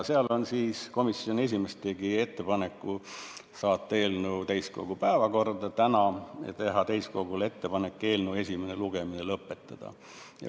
Seal komisjoni esimees tegi ettepaneku saata eelnõu tänaseks täiskogu päevakorda ja teha täiskogule ettepanek eelnõu esimene lugemine lõpetada.